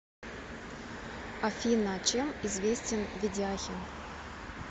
афина чем известен ведяхин